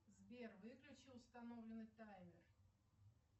сбер выключи установленный таймер